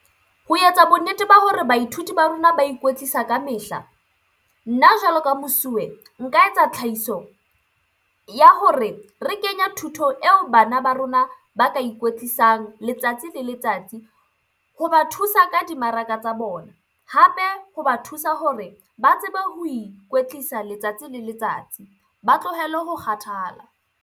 Ho etsa bonnete ba hore baithuti ba rona ba ikwetlisa ka mehla, nna jwalo ka mosuwe nka etsa tlhahiso ya hore re kenye thuto eo bana ba rona ba ka ikwetlisang letsatsi le letsatsi hoba thusa ka dimaraka tsa bona. Hape hoba thusa hore ba tsebe ho ikwetlisa letsatsi le letsatsi. Ba tlohele ho kgathala.